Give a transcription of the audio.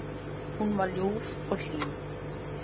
Hún var ljúf og hlý.